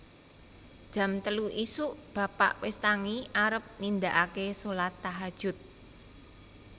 Jam telu isuk bapak wis tangi arep nindaake solat tahajud